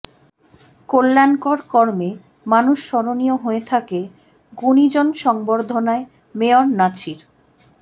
কল্যাণকর কর্মে মানুষ স্মরণীয় হয়ে থাকে গুণিজন সংবর্ধনায় মেয়র নাছির